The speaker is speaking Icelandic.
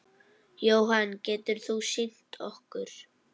Jóhann: Getur þú sýnt okkur?